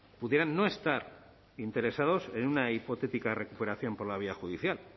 pudieran no estar interesados en una hipotética recuperación por la vía judicial